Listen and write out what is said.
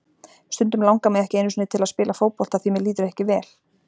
Stundum langar mig ekki einu sinni til að spila fótbolta því mér líður ekki vel.